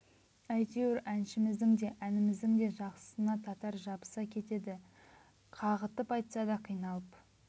әйтеуір әншіміздің де әніміздің де жақсысына татар жабыса кетеді деді қағытып айтса да қиналып